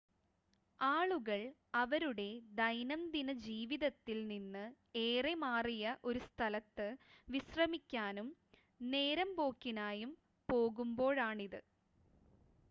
ആളുകൾ അവരുടെ ദൈനംദിന ജീവിതത്തിൽ നിന്ന് ഏറെ മാറിയ ഒരു സ്ഥലത്ത് വിശ്രമിക്കാനും നേരമ്പോക്കിനായും പോകുമ്പോഴാണിത്